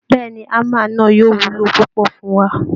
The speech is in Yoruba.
Bẹ́ẹ̀ ni, hammer náà yóò wúlò púpọ̀ fún wa